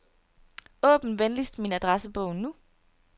Åbn venligst min adressebog nu.